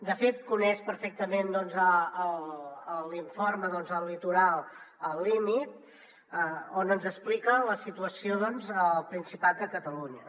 de fet coneix perfectament l’informe el litoral al límit que ens explica la situació doncs al principat de catalunya